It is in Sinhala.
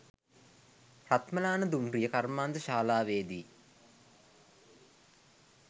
රත්මලාන දුම්රිය කර්මාන්ත ශාලාවේ දී